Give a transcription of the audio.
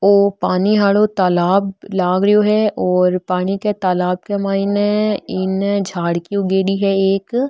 औ पानी वाला तालाब लाग रो है और पानी के तालाब के मईने इनने झाड़ भी उगेड़ी है एक।